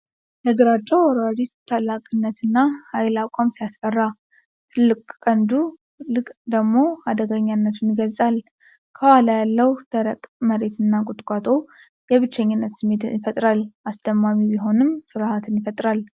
የግራጫው አውራሪስ ታላቅነትና ኃይል አቋም ሲያስፈራ ! ትልቁ ቀንዱ ደግሞ አደገኛነቱን ይገልጻ ል። ከኋላ ያለው ደረቅ መሬትና ቁጥቋጦ የብቸኝነት ስሜት ይፈጥራል። አስደማሚ ቢሆንም፣ ፍርሃትን ይፈጥራል !!።